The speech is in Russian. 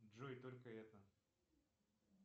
джой только это